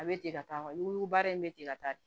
A bɛ ten ka taa ni baara in bɛ ten ka taa